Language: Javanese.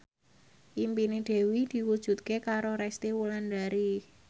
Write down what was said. impine Dewi diwujudke karo Resty Wulandari